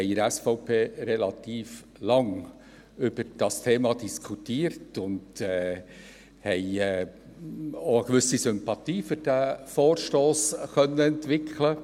Innerhalb der SVP diskutierten wir relativ lange über dieses Thema und konnten auch eine gewisse Sympathie für diesen Vorstoss entwickeln.